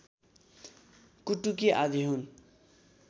कुटुकी आदि हुन्